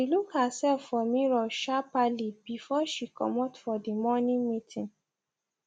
she look herself for mirror shapperly before she comot for the morning meeting